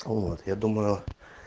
вот я думаю